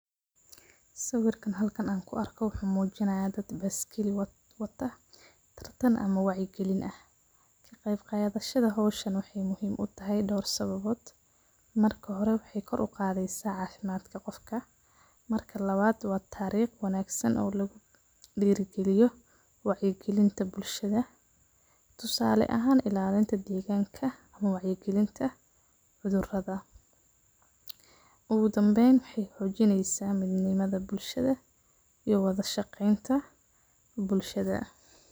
Sawirka halkan an ku arko wuxu mujinaya daad baskeli waata tartaan ama wacya galiin aah. Qayb qadhasha hawshan waxay muhiim u tahay door sababoot. Marka hoore waxay koor ugadheysa cafimadka qoofka, marka lawaad waa tareekh oo wanagsan la dirigaliyo wacya galiinta bulshada. Tosale ahan ilaliinta deeganka wacya galiinta cudhuradha. Ugu dambeyn waxay xoojinysa muhiimada bulsahada iyo wadha shageynta bulshada.